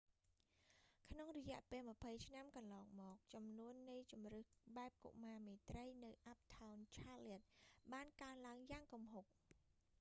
ក្នុងរយៈពេល 20 ឆ្នាំកន្លងមកចំនួននៃជម្រើសបែបកុមារមេត្រីនៅ uptown charlotte បានកើនឡើងយ៉ាងគំហុក